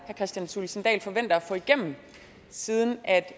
kristian thulesen dahl forventer at få igennem siden